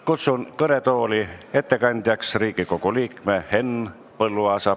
Kutsun ettekandeks kõnetooli Riigikogu liikme Henn Põlluaasa.